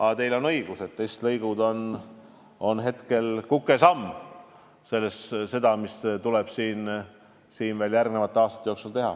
Aga teil on õigus, testlõigud on kukesamm võrreldes sellega, mis tuleb järgmiste aastate jooksul teha.